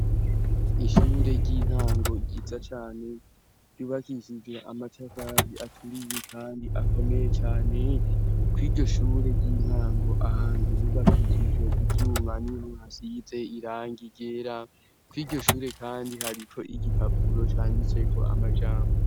Ishure ry'intango ryiza cane ryubakishije amatafari aturiye kandi akomeye cane. Kw'iryo shure ry'intango, ahantu bubakishije ivyuma niho hasize irangi ryera. Kw' iryo shure kandi hariko igipapuro cangiseko amajambo.